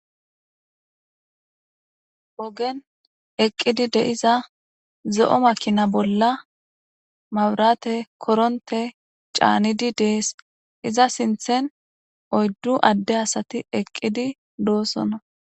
Ogden eqqidi de'izizo7o makina bolla mawurate koronte caanidi dees iza sinthen oyddu adde asati eqqidi doosonna.